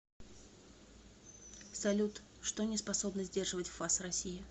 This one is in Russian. салют что не способно сдерживать фас россии